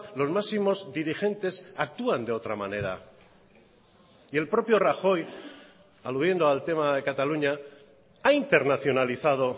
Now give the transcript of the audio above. los máximos dirigentes actúan de otra manera y el propio rajoy aludiendo al tema de cataluña ha internacionalizado